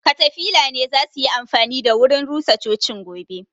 Katafila ne za suyi amfani da wurin rusa cocin gobe